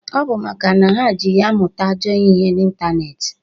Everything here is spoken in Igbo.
..ọ bụ maka na ha ji ya amụta ajọ ihe n'intaneeti.